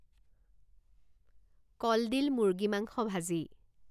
কলডিল মুৰ্গী মাংস ভাজি